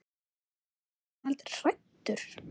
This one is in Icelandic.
En var hann aldrei hræddur?